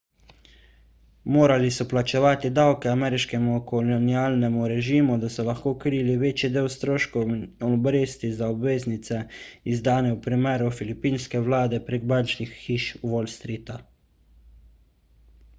morali so plačevati davke ameriškemu kolonialnemu režimu da so lahko krili večji del stroškov in obresti za obveznice izdane v imenu filipinske vlade prek bančnih hiš wall streeta